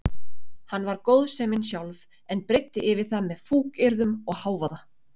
Hann var góðsemin sjálf en breiddi yfir það með fúkyrðum og hávaða.